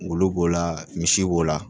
Ngolo b'o la misi b'o la